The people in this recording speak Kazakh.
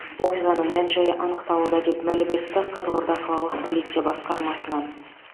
оқиғаның мән жайы анықталуда деп мәлім етті қызылорда қалалық полиция басқармасынан